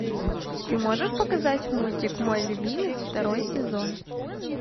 ты можешь показать мультик мой любимец второй сезон